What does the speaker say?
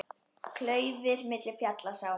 Klaufir milli fjalla sá.